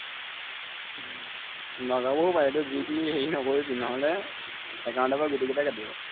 উম নলবও পাৰে তই যি টি হেৰি নকৰিবি নহলে account ৰ পৰা গোটেইকেইটা কাটিব